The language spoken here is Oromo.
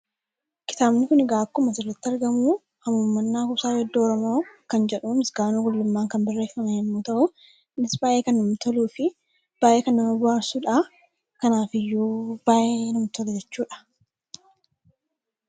Kitaabni kun egaa akkuma asirratti argamu 'Hamuummannaa Kuusaa Weedduu Oromoo' kan jedhamu Misgaanuu Gulummaan kan barreeffame yoo ta’u, innis baay'ee kan namatti toluu fi baay'ee kan nama bohaarsudha. Kanaafiyyuu baay'ee namatti tola jechuudha.